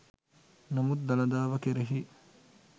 නමුත් දළදාව කෙරෙහි